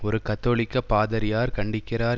ஒரு கத்தோலிக்க பாதிரியார் கண்டிக்கிறார்